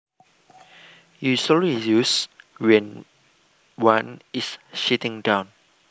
Usually used when one is sitting down